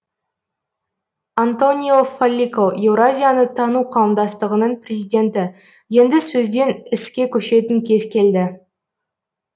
антонио фаллико еуразияны тану қауымдастығының президенті енді сөзден іске көшетін кез келді